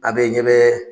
A bɛ ɲɛ bɛɛ